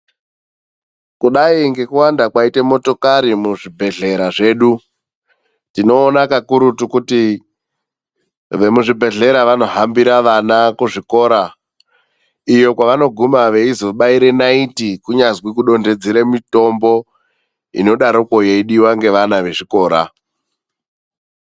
Kudai ngekuwanda kwaita motokari muzvibhedhlera zvedu, tinoona kakurutu kuti vemuzvibhedhlera vanohambira vana kuzvikora, iyo kwevanoguma veizobaira naiti kunyazwi kudonhedzera mitombo inodaroko yeidiwa ngevana vezvikora.